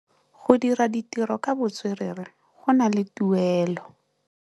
Go dira ditirô ka botswerere go na le tuelô.